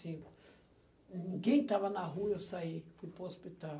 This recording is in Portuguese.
cinco. Ninguém estava na rua, eu saí para o hospital.